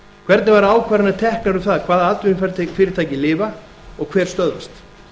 hvernig verða ákvarðanir teknar um það hvaða atvinnufyrirtæki lifa og hver stöðvist